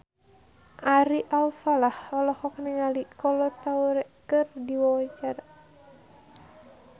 Ari Alfalah olohok ningali Kolo Taure keur diwawancara